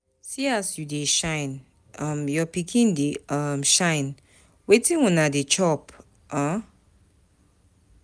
See as you dey shine, um your pikin dey um shine. Wetin una dey chop um?